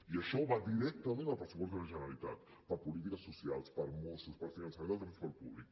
i això va directament al pressupost de la generalitat per a polítiques socials per a mossos per a finançament del transport públic